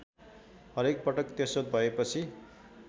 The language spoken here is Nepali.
हरेकपटक त्यसो भएपछि